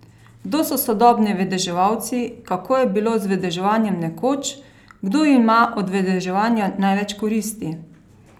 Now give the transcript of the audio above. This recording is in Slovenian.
Kdo so sodobni vedeževalci, kako je bilo z vedeževanjem nekoč, kdo ima od vedeževanja največ koristi?